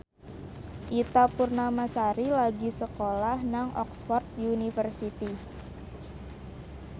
Ita Purnamasari lagi sekolah nang Oxford university